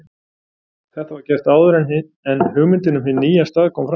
Þetta var gert áður en hugmyndin um hinn nýja stað kom fram.